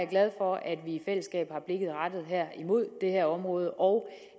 glad for at vi i fællesskab har blikket rettet mod det her område og